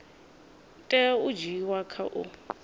tea u dzhiiwa kha u